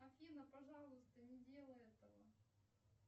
афина пожалуйста не делай этого